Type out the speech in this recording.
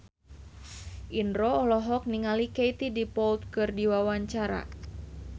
Indro olohok ningali Katie Dippold keur diwawancara